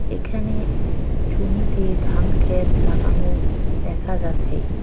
এখানে জমিতে ধান ক্ষেত লাগানো দেখা যাচ্ছে।